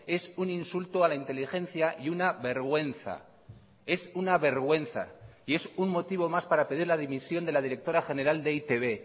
es un insulto a la inteligencia y una vergüenza es una vergüenza y es un motivo más para pedir la dimisión de la directora general de e i te be